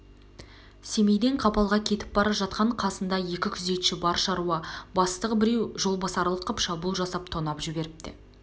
семейден қапалға кетіп бара жатқан қасында екі күзетші бар шаруа бастығы біреу жолбасарлық қып шабуыл жасап тонап жіберіпті